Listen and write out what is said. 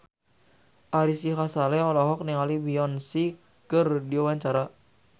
Ari Sihasale olohok ningali Beyonce keur diwawancara